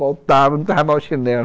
Voltava, não estava mais o chinelo.